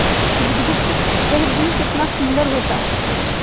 बुधगुप्त वह दिन कितना सुंदर होता